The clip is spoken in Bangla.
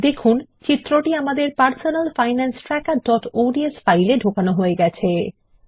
দেখুন চিত্রটি আমাদের personal finance trackerঅডস ফাইল এ ঢোকানো হয়ে গেছে